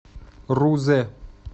рузе